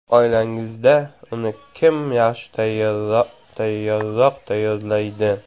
Oilangizda uni kim yaxshi tayyorroq tayyorlaydi?